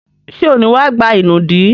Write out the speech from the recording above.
Ṣé ò ní wá gba ìnùdí?